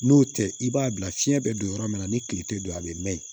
N'o tɛ i b'a bila fiɲɛ bɛ don yɔrɔ min na ni kile tɛ don a bɛ mɛn yen